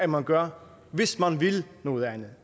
man gør hvis man vil noget andet